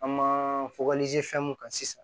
An ma fɛn mun kan sisan